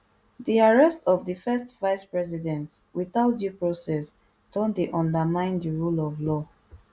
di arrest of di first vicepresident without due process don dey undermine di rule of law